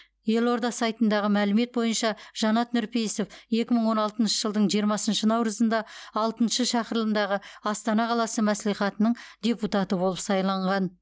елорда сайтындағы мәлімет бойынша жанат нұрпейісов екі мың он алтыншы жылдың жиырмасыншы наурызында алтыншы шақырылымдағы астана қаласы мәслихатының депутаты болып сайланған